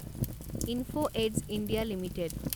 info Edge India limited